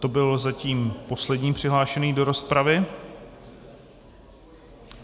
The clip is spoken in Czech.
To byl zatím poslední přihlášený do rozpravy.